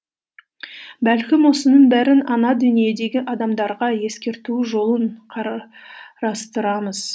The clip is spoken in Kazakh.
бәлкім осының бәрін ана дүниедегі адамдарға ескерту жолын қарастырамыз